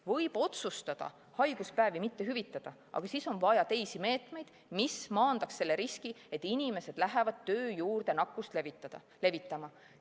Võib otsustada haiguspäevi mitte hüvitada, aga siis on vaja teisi meetmeid, mis maandaks selle riski, et inimesed lähevad töö juurde nakkust levitama.